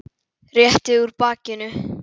Rétti úr bakinu.